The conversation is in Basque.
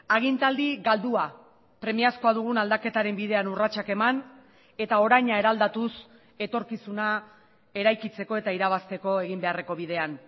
agintaldi galdua premiazkoa dugun aldaketaren bidean urratsak eman eta oraina eraldatuz etorkizuna eraikitzeko eta irabazteko egin beharreko bidean